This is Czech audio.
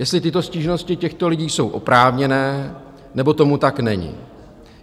Jestli tyto stížnosti těchto lidí jsou oprávněné, nebo tomu tak není.